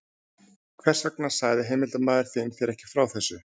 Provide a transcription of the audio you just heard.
Hvers vegna sagði heimildarmaður þinn þér ekki frá þessu?